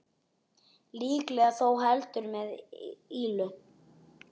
Líklega þó heldur með illu.